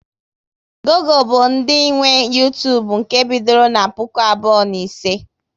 Google bụ ndị nwe Uytubu nke e bidoro na puku abụọ na ise